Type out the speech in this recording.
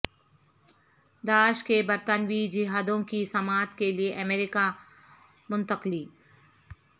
داعش کے برطانوی جہادیوں کی سماعت کے لیے امریکہ منتقلی